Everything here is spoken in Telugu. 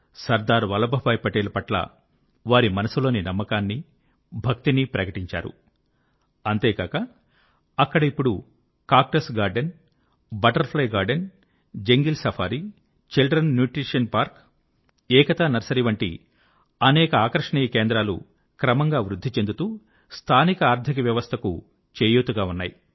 సర్దార్ వల్లభభాయి పటేల్ పట్ల వారి మనసులోని నమ్మకాన్ని భక్తిని ప్రకటించారు అంతేకాక అక్కడ ఇప్పుడు cactus garden butterfly garden jungle safari children nutrition park Ekta nursery వంటి అనేక ఆకర్షణీయ కేంద్రాలు క్రమంగా వృద్ధి చెందుతూ స్థానిక ఆర్థిక వ్యవస్థకు చేయూతగా ఉన్నాయి